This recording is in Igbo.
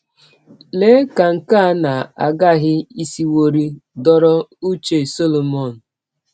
Lee ka nke a na - aghaghị isiwọrị dọrọ ụche Solomọn!